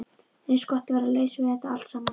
Eins gott að vera laus við það allt saman.